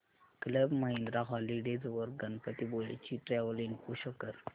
club Mahindra Holidays वर गणपतीपुळे ची travel info show कर